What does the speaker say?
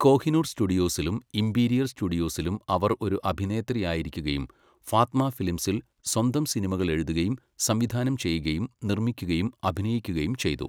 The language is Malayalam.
കോഹിനൂർ സ്റ്റുഡിയോസിലും ഇംപീരിയൽ സ്റ്റുഡിയോസിലും അവർ ഒരു അഭിനേത്രിയായിരിക്കുകയും, ഫാത്മ ഫിലിംസിൽ സ്വന്തം സിനിമകൾ എഴുതുകയും, സംവിധാനം ചെയ്യുകയും, നിർമ്മിക്കുകയും, അഭിനയിക്കുകയും ചെയ്തു.